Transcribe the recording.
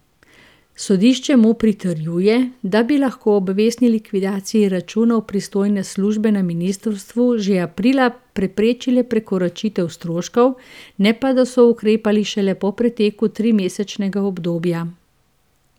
Sodišče mu pritrjuje, da bi lahko ob vestni likvidaciji računov pristojne službe na ministrstvu že aprila preprečile prekoračitev stroškov, ne pa da so ukrepali šele po preteku trimesečnega obdobja.